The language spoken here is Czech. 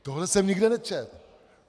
Tohle jsem nikde nečetl!